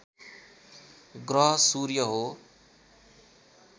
ग्रह सूर्य हो